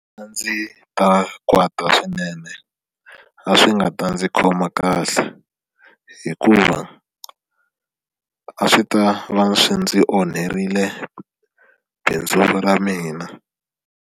A ndzi ta kwata swinene a swi nga ta ndzi khoma kahle hikuva a swi ta va swi ndzi onherile bindzu ra mina.